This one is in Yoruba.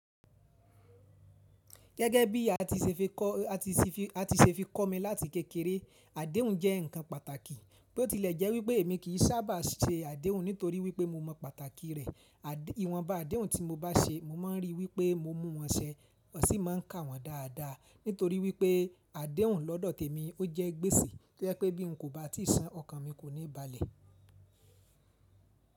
Gẹ́gẹ́ bí a ti ṣe fi kọ́ mi láti kékeré, àdéhùn jẹ́ ǹkan pàtàkì. Bo ti lẹ̀ jẹ́ wípé èmi kì í sábà ṣe àdéhùn nítorí wípé mo mọ pàtàkì rẹ̀. Ìwọ̀nba àdéhùn tí mo bá ṣe, mo máa ń rí wípé mo mú wọn ṣẹ, mo sì máa ń ka wọ́n dáadáa. Nítorí wípé àdéhùn lọ́dọ̀ tèmi ó jẹ́ gbèsè to jẹ̀ pé bí n kò bá tíì san ọkàn mi kò ní balẹ̀.